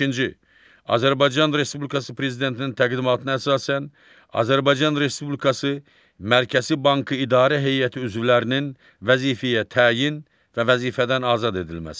On beşinci, Azərbaycan Respublikası Prezidentinin təqdimatına əsasən Azərbaycan Respublikası Mərkəzi Bankı İdarə Heyəti üzvlərinin vəzifəyə təyin və vəzifədən azad edilməsi.